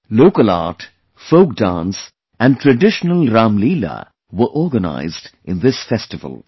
Local art, folk dance and traditional Ramlila were organized in this festival